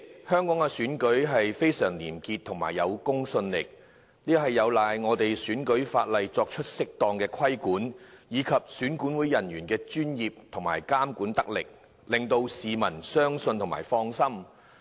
香港的選舉非常廉潔而有公信力，這有賴本港的選舉法例作出適當的規管，以及選舉管理委員會人員的專業精神，監管得力，令到市民放心。